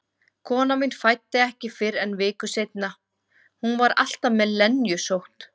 Konan mín fæddi ekki fyrr en viku seinna, hún var alltaf með lenjusótt.